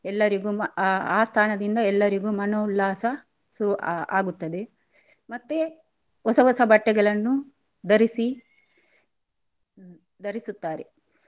ಎಲ್ಲರಿಗು ಆ ಸ್ಥಾನದಿಂದ ಎಲ್ಲರಿಗು ಮನೊ ಉಲ್ಲಾಸ ಸುರು ಆ ಆಗುತ್ತದೆ ಮತ್ತೆ ಹೊಸ ಹೊಸ ಬಟ್ಟೆಗಳನ್ನು ಧರಿಸಿ ಧರಿಸುತ್ತಾರೆ.